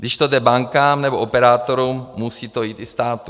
Když to jde bankám nebo operátorům, musí to jít i státu.